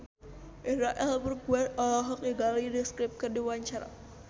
Indra L. Bruggman olohok ningali The Script keur diwawancara